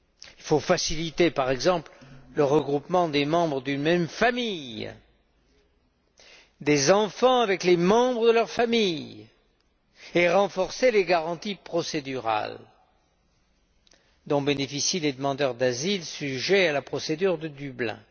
Il faut faciliter, par exemple, le regroupement des membres d'une même famille, des enfants avec les membres de leur famille, et renforcer les garanties procédurales dont bénéficient les demandeurs d'asile sujets à la procédure de Dublin.